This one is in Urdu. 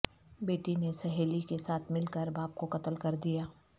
بیٹی نے سہیلی کے ساتھ ملکر باپ کو قتل کردیا